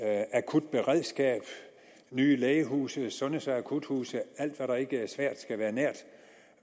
akutberedskab nye lægehuse sundheds og akuthuse alt hvad der ikke er svært skal være nært